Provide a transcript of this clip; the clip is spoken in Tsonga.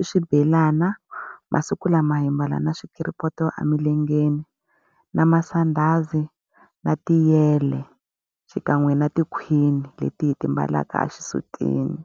i swibelana. Masiku lama hi mbala na swikiripoto emilengeni, na masandhazi, na tiyele, xikan'we na tikhwini leti hi ti mbalaka exisutini.